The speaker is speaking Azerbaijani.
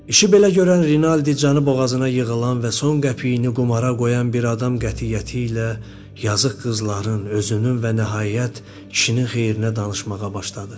İşi belə görən Rinaldi canı boğazına yığılan və son qəpiyini qumara qoyan bir adam qətiyyəti ilə yazıq qızların, özünün və nəhayət kişinin xeyrinə danışmağa başladı.